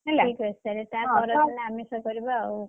ହେଲା ଠିକ୍ ଅଛି ତାହେଲେ ତା ପରଦିନ ଆମିଷ କରିବ ଆଉ,